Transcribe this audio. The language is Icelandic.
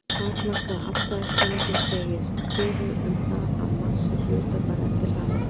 Takmarkaða afstæðiskenningin segir fyrir um það að massi hluta fari eftir hraða þeirra.